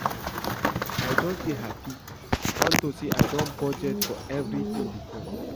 I just dey happy unto say I don budget for everything before